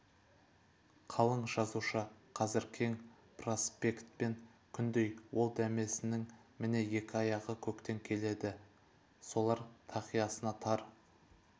қалың жазушы қазір кең проспектмен күндей ол дәмесінің міне екі аяғы көктен келді солар тақиясына тар